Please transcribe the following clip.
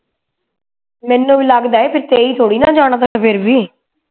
ਮੈਨੂੰ ਵੀ ਲਗਦੇ ਕਿ ਤੇਈ ਥੋੜੀ ਨਾ ਫੇਰ ਵੀ